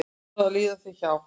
Svo líða þau hjá.